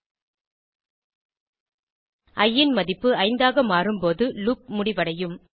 இ ன் மதிப்பு 5 ஆக மாறும் போது லூப் முடிவடையும்